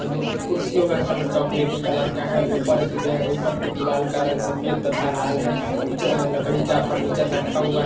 कुर्सियों का कलर चॉकलेटी कलर का है। ऊपर ऊपर की दीवाल का रंग सफ़ेद तथा लाल है। कुछ लकड़ी का फर्निचर रखा हुआ है।